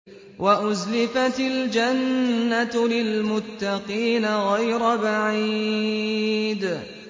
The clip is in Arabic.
وَأُزْلِفَتِ الْجَنَّةُ لِلْمُتَّقِينَ غَيْرَ بَعِيدٍ